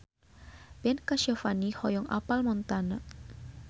Ben Kasyafani hoyong apal Montana